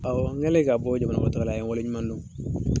Awɔ n kɛlen ka bɔ jamana kɔnɔ taga la , a ye n wale ɲuman dɔn.